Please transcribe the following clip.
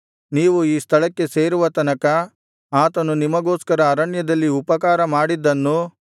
ನೀವು ಈ ಸ್ಥಳಕ್ಕೆ ಸೇರುವ ತನಕ ಆತನು ನಿಮಗೋಸ್ಕರ ಅರಣ್ಯದಲ್ಲಿ ಉಪಕಾರಮಾಡಿದ್ದನ್ನೂ